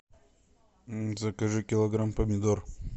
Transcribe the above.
закажи килограмм помидор